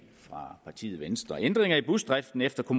fra partiet venstre ændringerne i busdriften efter